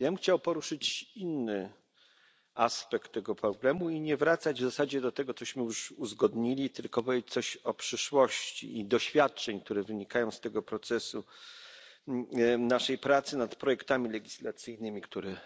Ja bym chciał poruszyć inny aspekt tego problemu i nie wracać w zasadzie do tego, cośmy już uzgodnili, tylko powiedzieć coś o przyszłości i doświadczeniach wynikających z tego procesu naszej pracy nad projektami legislacyjnymi, które